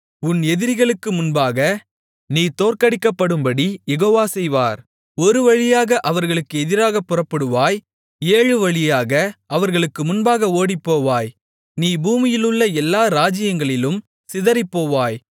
உன் எதிரிகளுக்கு முன்பாக நீ தோற்கடிக்கப்படும்படி யெகோவா செய்வார் ஒரு வழியாக அவர்களுக்கு எதிராகப் புறப்படுவாய் ஏழு வழியாக அவர்களுக்கு முன்பாக ஓடிப்போவாய் நீ பூமியிலுள்ள எல்லா ராஜ்ஜியங்களிலும் சிதறிப்போவாய்